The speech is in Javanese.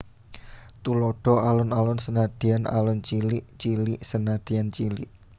Tuladha Alon alon senadyan alon cilik cilik senadyan cilik